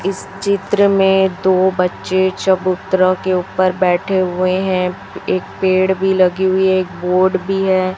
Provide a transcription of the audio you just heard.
इस चित्र में दो बच्चे चबूतरा के ऊपर बैठे हुए हैं एक पेड़ भी लगी हुई है एक बोर्ड भी है।